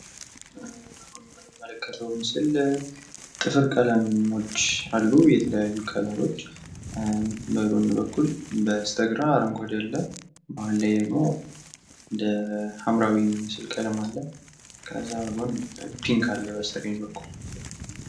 የምንመለከትው ምስል ጥፍር ቀለሞች አሉ። የተለያዩ ከለሮች በጎን በኩል በስተግራ አረንጓዴ አለ መሃል ደግሞ ሐምራዊ ምስል ቀለማ አለ ከዛ ጎን ፒንክ አለ በስተቀኝ እኩል